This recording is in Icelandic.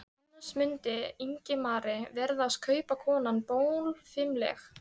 Annars mundi Ingimari virðast kaupakonan bólfimleg.